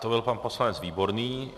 To byl pan poslanec Výborný.